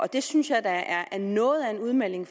det synes jeg da er noget af en udmelding